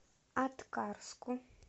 аткарску